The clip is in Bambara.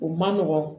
O man nɔgɔn